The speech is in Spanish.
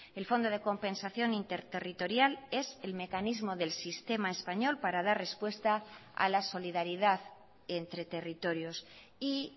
el fondo de compensación interterritorial es el mecanismo del sistema español para dar respuesta a la solidaridad entre territorios y